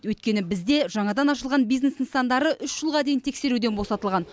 өйткені бізде жаңадан ашылған бизнес нысандары үш жылға дейін тексеруден босатылған